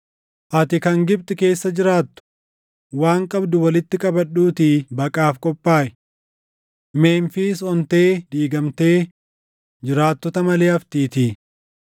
Ati kan Gibxi keessa jiraattu, waan qabdu walitti qabadhuutii baqaaf qophaaʼi; Memfiis ontee diigamtee jiraattota malee haftiitii.